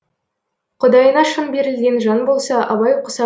құдайына шын берілген жан болса абай құсап